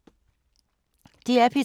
DR P3